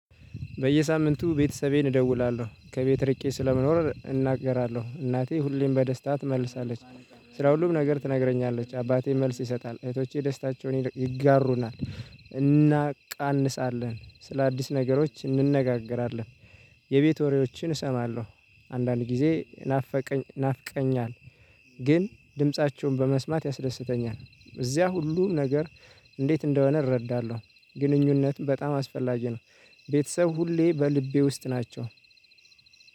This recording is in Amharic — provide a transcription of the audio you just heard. በየሳምንቱ ቤትሰቤን እደውላለሁ ከቤት ርቄ ስለመኖር እናገራለሁ እናቴ ሁሌም በደስታ ትመልሳለች። ስለ ሁሉም ነገር ትነግረኛለች አባቴ መልስ ይሰጣል እህቶቼ ደስታቸውን ይጋሩናል። እናቃንሳለን ስለ አዲስ ነገሮች እንነጋገራለን። የቤት ወሬዎችን እሰማለሁ አንዳንድ ጊዜ ናፍቀኝ ናፍቀኛል። ግን ድምፃቸውን በመስማት ያስደስተኛል። እዚያ ሁሉ ነገር እንዴት እንደሆነ እረዳለሁ። ግንኙነት በጣም አስፈላጊ ነው። ቤተሰብ ሁሌ በልቤ ውስጥ ናቸው።